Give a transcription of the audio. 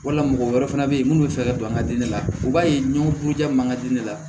Wala mɔgɔ wɛrɛ fana bɛ yen minnu bɛ fɛ ka don an ka diinɛ la u b'a ye ɲɔgɔn buruja ma ka di ne la